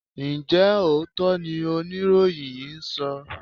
Ǹjẹ́ òótọ́ ni oníròyìn yìí ń sọ?